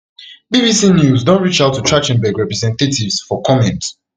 bbc news don reach out to trach ten berg representatives for comment